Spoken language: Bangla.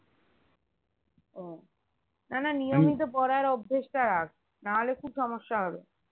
ও না না পড়ার অভ্যেস টা রাখ নাহলে খুব সমস্যা হবে